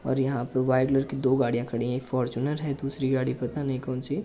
और यहाँ पे वाइट लर कि दो गाड़ियां खड़ीं हैं। एक फोरचुनर है दूसरी गाड़ी पता नहीं कौन सी है।